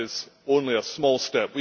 That is only a small step